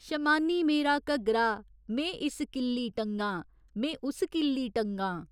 शमान्नी मेरा घग्गरा में इस किल्ली टंगा में उस किल्ली टंगां।